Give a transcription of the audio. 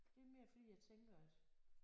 Det er mere fordi jeg tænker at